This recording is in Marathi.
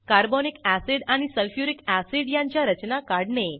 कार्बोनिक अॅसिड आणि सल्फ्युरिक अॅसिड यांच्या रचना काढणे